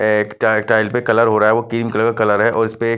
एक tile tile पे colour हो रहा है वो क्रीम कलर का कलर है और इसपे--